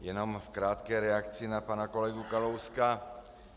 Jen v krátké reakci na pana kolegu Kalouska.